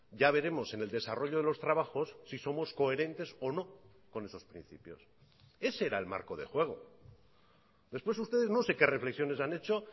ya veremos en el desarrollo de los trabajos si somos coherentes o no con esos principios ese era el marco de juego después ustedes no sé qué reflexiones han hecho